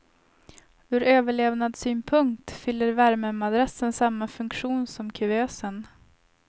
Ur överlevnadssynpunkt fyller värmemadrassen samma funktion som kuvösen.